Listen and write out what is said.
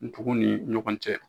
Ntugu ni ɲɔgɔn cɛ